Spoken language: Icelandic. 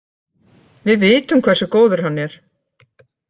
Við vitum hversu góður hann er.